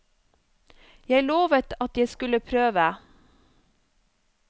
Jeg lovet at jeg skulle prøve.